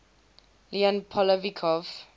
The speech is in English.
leon poliakov